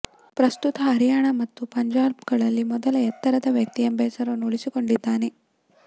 ಪ್ರಸ್ತುತ ಹರಿಯಾಣ ಮತ್ತು ಪಂಜಾಬ್ಗಳಲ್ಲಿ ಮೊದಲ ಎತ್ತರದ ವ್ಯಕ್ತಿ ಎಂಬ ಹೆಸರನ್ನು ಉಳಿಸಿಕೊಂಡಿದ್ದಾನೆ